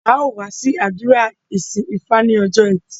Á ó wá sí àdúrà ìsìn ifá ní ọjọ́ ẹtì